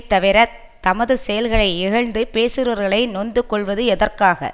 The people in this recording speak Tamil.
தவிரத் தமது செயல்களை இகழ்ந்து பேசுகிறவர்களை நொந்து கொள்வது எதற்காக